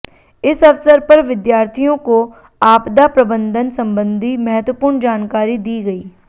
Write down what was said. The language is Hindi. इस अवसर पर विद्यार्थियों को आपदा प्रबंधन संबंधी महत्वपूर्ण जानकारी दी गई